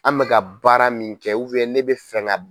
An bɛ ka baara min kɛ ne bɛ fɛ ka.